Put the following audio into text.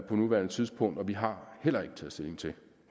på nuværende tidspunkt vi har heller ikke taget stilling til